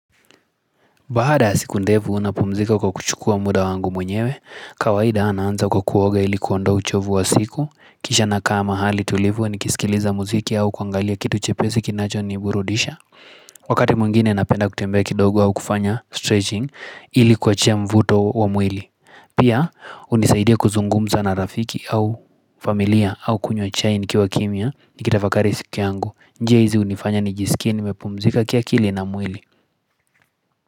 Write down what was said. Baaada ya siku ndefu unapumzika kwa kuchukua muda wangu mwenyewe, kawaida naanza kwa kuoga ilikuwa ndo uchovu wa siku, kisha nakaa mahali tulivu nikisikiliza muziki au kuangalia kitu chepesi kinacho niburudisha. Wakati mwngine napenda kutembea kidogo au kufanya stretching ili kuachia mvuto wa mwili. Pia hunisaidia kuzungumza na rafiki au familia au kunywa chai nikiwa kimya nikitafakari siku yangu. Njia hizi hunifanya nijiskie nimepumzika kiakili na mwili.